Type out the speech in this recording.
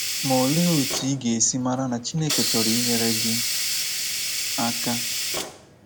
Ma olee otu ị ga-esi mara na Chineke chọrọ inyere gị aka?